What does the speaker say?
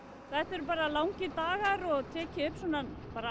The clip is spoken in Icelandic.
þetta eru bara langir dagar og tekið upp svona